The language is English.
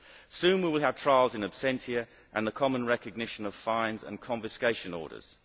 Soon we will have trials in absentia and the common recognition of fines and confiscation orders.